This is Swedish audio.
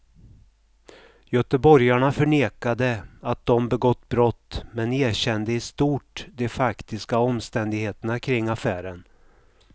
Göteborgarna förnekade att de begått brott men erkände i stort de faktiska omständigheterna kring affären.